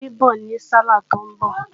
Funbí ń bọ̀ ní sálàh tí ń bọ̀